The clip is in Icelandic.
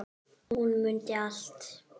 Hún mundi allt.